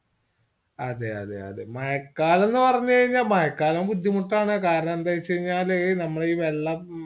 അതെ അതെ അതെ മഴക്കാലം പറഞ്ഞ്‍കഴിഞ്ഞാ മഴക്കാലവും ബുദ്ധിമുട്ടാണ് കാരണം എന്തേവെച്ചാൽ നമ്മളെ ഈ വെള്ളം